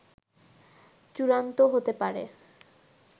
চূড়ান্ত হতে পারে